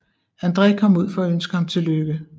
André kom ud for at ønske ham tillykke